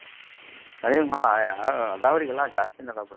ಹಾ ಅದಾವ್ರಿ ಎಲ್ಲಾನು ಜಾಸ್ತಿನ್ ಅದಾವ್.